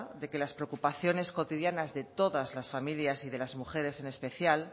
de que las preocupaciones cotidianas de todas las familias y de las mujeres en especial